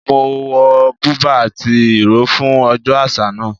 Mo wọ bùbá àti ìró fún ọjọ́ àṣà náà